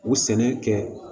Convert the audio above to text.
U sɛnɛ kɛ